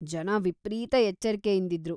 ಜನ ವಿಪ್ರೀತ ಎಚ್ಚರಿಕೆಯಿಂದಿದ್ರು.